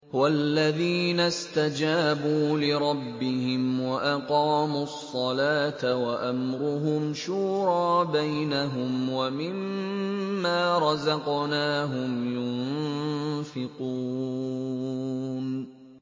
وَالَّذِينَ اسْتَجَابُوا لِرَبِّهِمْ وَأَقَامُوا الصَّلَاةَ وَأَمْرُهُمْ شُورَىٰ بَيْنَهُمْ وَمِمَّا رَزَقْنَاهُمْ يُنفِقُونَ